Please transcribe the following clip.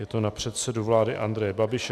Je to na předsedu vlády Andreje Babiše.